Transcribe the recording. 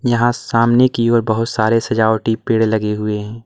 यहां सामने की ओर बहुत सारे सजावटी पेड़ लगे हुए हैं।